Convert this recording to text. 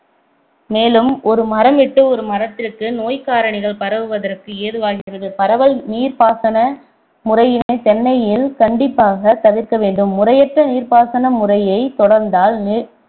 மேலும் ஒரு மரம்விட்டு ஒரு மரத்திற்கு நோய்க்காரணிகள் பரவுவதற்கு ஏதுவாகியது பரவல் நீர்ப்பாசன முறையினைத் தென்னையில் கண்டிப்பாக திவிர்க்க வேண்டும் முறையற்ற நீர்ப்பாசன முறையை தொடர்ந்தால்